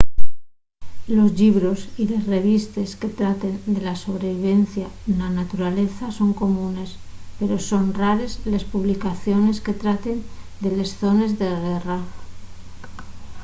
los llibros y les revistes que traten de la sobrevivencia na naturaleza son comunes pero son rares les publicaciones que traten de les zones de guerra